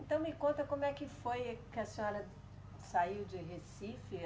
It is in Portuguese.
Então, me conta como é que foi que a senhora saiu de Recife.